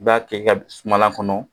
I b'a k'i ka sumalan kɔnɔ